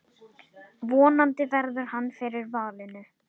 Vonandi verður hann fyrir valinu.